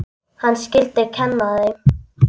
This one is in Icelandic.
Hann skyldi kenna þeim.